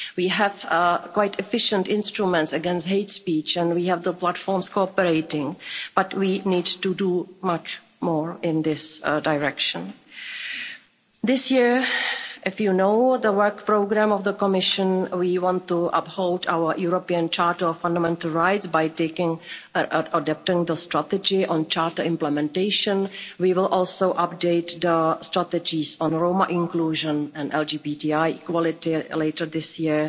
We have quite efficient instruments against hate speech and we have the platforms cooperating, but we need to do much more in this direction. This year, as you know, as per the work programme of the Commission, we want to uphold our European Charter of Fundamental Rights by adopting the strategy on charter implementation. We will also update the strategies on Roma inclusion and LGBTI equality later this